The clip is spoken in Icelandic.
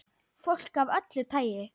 Fólk af öllu tagi.